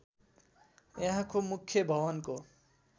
यहाँको मुख्य भवनको